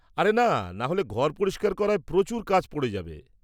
-আরে না, নাহলে ঘর পরিষ্কার করায় প্রচুর কাজ পড়ে যাবে।